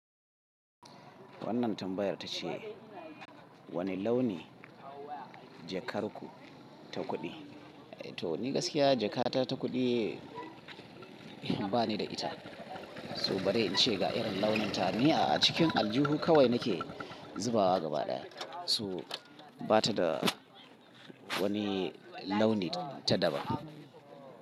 Wannan tambayar ta ce, wane launi jakar ku ta kuɗi? To ni gaskiya jakata ta kuɗi bani da ita. So bari in ce ga irin launin ta, ni a cikin aljihu kawai nake zubawa gaba ɗaya. So bata da wani launi ta daban.